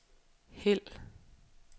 hæld